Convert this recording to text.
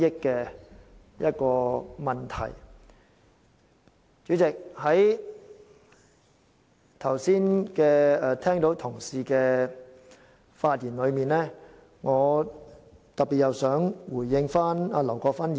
代理主席，在剛才發言的同事之中，我特別想回應劉國勳議員。